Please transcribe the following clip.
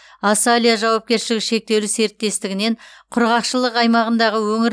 асалия жауапкершілігі шектеулі серіктестігінен құрғақшылық аймағындағы өңір